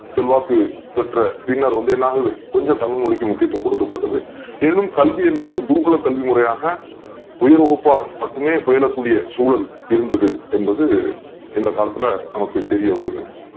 செல்வாக்கு பெற்ற பின்னர் வந்து என்னாவது கொஞ்சம் தமிழ் மொழிக்கு முக்கியத்துவம் கொடுக் கப்படுது எனினும் கல்வி என்பது குருகுல கல்வி முறையாக உயர் வகுப்பார் மட்டுமே பயிலக்கூடிய சூழல் இருந்தது இந்த காலத்துல நம்மளுக்கு தெரிய வருது